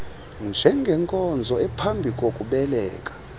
njengenkonzo ephambi kokubeleka